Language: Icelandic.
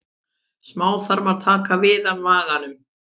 Smáþarmar taka við af maganum.